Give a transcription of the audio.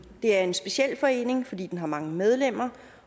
er en speciel forening fordi den har mange medlemmer